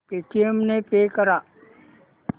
Paytm ने pay कर